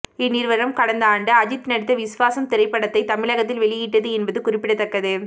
இந்நிறுவனம் கடந்த ஆண்டு அஜித் நடித்த விஸ்வாசம் திரைப்படத்தை தமிழகத்தில் வெளியிட்டது என்பது குறிப்பிடத்தக்கது